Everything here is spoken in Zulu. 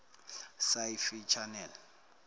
sci fi channel